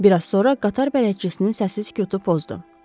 Bir az sonra qatar bələdçisinin səssizliyi pozdu.